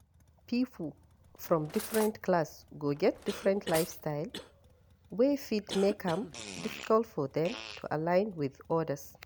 Pipo from different class go get different lifestyle wey fit make am difficult for dem to align with odas